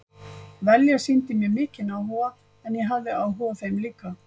Velja sýndi mér mikinn áhuga og ég hafði áhuga á þeim líka.